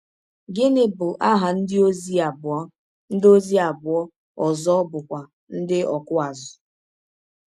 Gịnị bụ aha ndịozi abụọ ndịozi abụọ ọzọ bụ́kwa ndị ọkụ azụ̀?